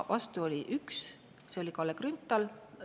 Vastu oli üks: Kalle Grünthal.